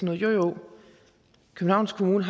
jo jo københavns kommune